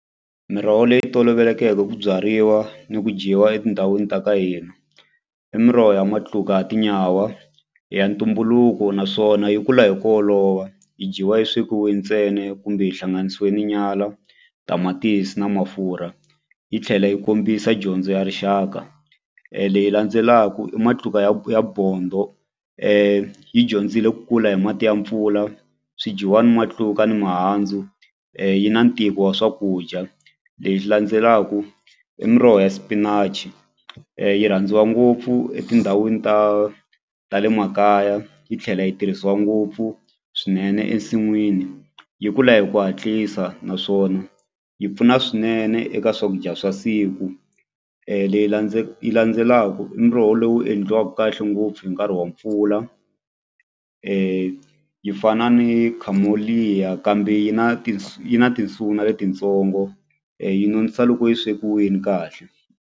Miroho leyi tolovelekeke ku byariwa ni ku dyiwa etindhawini ta ka hina i miroho ya matluka ya tinyawa i ya ntumbuluko naswona yi kula hi ku olova yi dyiwa yi swekiwe ntsena kumbe yi hlanganisiwe na nyala tamatisi na mafurha yi tlhela yi kombisa dyondzo ya rixaka leyi landzelaku i matluka ya ya bondho yi dyondzile ku kula hi mati ya mpfula swi dyiwa ni matluka ni mihandzu yi na ntiko wa swakudya landzelaku i miroho ya spinach yi rhandziwa ngopfu etindhawini ta ta le makaya yi tlhela yi tirhisiwa ngopfu swinene ensinwini yi kula hi ku hatlisa naswona yi pfuna swinene eka swakudya swa siku leyi landzelaku i muroho lowu endliwaku kahle ngopfu hi nkarhi wa mpfula yi fana ni kambe yi na yi na tinsuna letitsongo yi nonisa loko yi swekiwini kahle.